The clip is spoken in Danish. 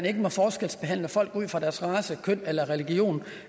ikke må forskelsbehandle folk ud fra deres race køn religion